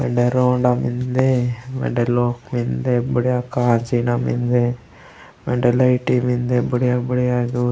वेंडे रोंडा मेन्दे वेंडे लोक मेन्दे बढ़िया कांचिना मेन्दे वेन्डे लाइटी मेन्दे बुड़िया -बुड़िया।